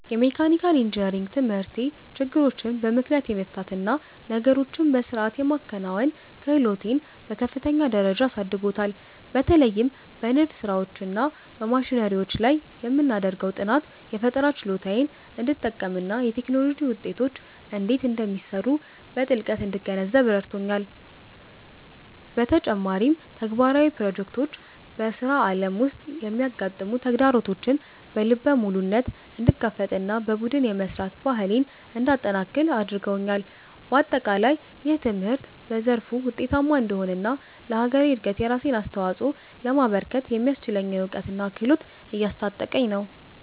የመካኒካል ኢንጂነሪንግ ትምህርቴ ችግሮችን በምክንያት የመፍታት እና ነገሮችን በሥርዓት የማከናወን ክህሎቴን በከፍተኛ ደረጃ አሳድጎታል። በተለይም በንድፍ ሥራዎች እና በማሽነሪዎች ላይ የምናደርገው ጥናት፣ የፈጠራ ችሎታዬን እንድጠቀምና የቴክኖሎጂ ውጤቶች እንዴት እንደሚሰሩ በጥልቀት እንድገነዘብ ረድቶኛል። በተጨማሪም፣ ተግባራዊ ፕሮጀክቶች በሥራ ዓለም ውስጥ የሚያጋጥሙ ተግዳሮቶችን በልበ ሙሉነት እንድጋፈጥና በቡድን የመሥራት ባህሌን እንዳጠነክር አድርገውኛል። በአጠቃላይ፣ ይህ ትምህርት በዘርፉ ውጤታማ እንድሆንና ለሀገሬ እድገት የራሴን አስተዋፅኦ ለማበርከት የሚያስችለኝን እውቀትና ክህሎት እያስታጠቀኝ ነው።